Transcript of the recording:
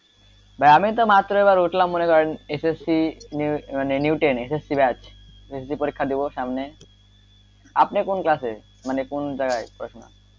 ভাই আমি তো মাত্র এইবার উঠলাম মনে করেন SSC মানে new ten SSC batch পরীক্ষা দিবো সামনে আপনি কোন class এ মানে কোন জায়গায় পড়াশুনা,